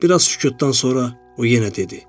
Bir az sükutdan sonra o yenə dedi.